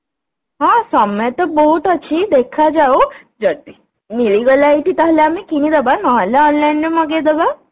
ହଁ ସମୟ ତ ବହୁତ ଅଛି ଦେଖାଯାଉ ଯଦି ମିଳିଗଲା ଏଇଠି ତାହେଲେ ଆମେ କିଣିଦବା ନହେଲେ online ରୁ ମଗେଇଦବା